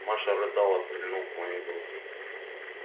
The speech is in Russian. маша рыдала прильнув к моей груди